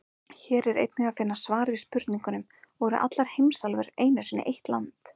Hér er einnig að finna svar við spurningunum: Voru allar heimsálfurnar einu sinni eitt land?